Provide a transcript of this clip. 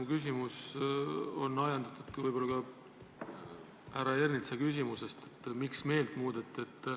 Mu küsimus on ajendatud võib-olla ka härra Ernitsa küsimusest, et miks meelt muudeti.